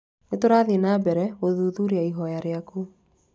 Nĩ tũrathiĩ na mbere gũthuthuria ihoya riaku.